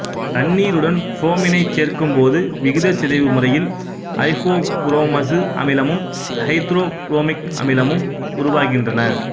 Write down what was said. தண்ணீருடன் புரோமினைச் சேர்க்கும் போது விகிதச்சிதைவு முறையில் ஐப்போபுரோமசு அமிலமும் ஐதரோபுரோமிக் அமிலமும் உருவாகின்றன